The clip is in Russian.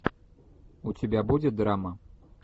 у тебя будет драма